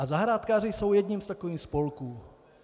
A zahrádkáři jsou jedním z takových spolků.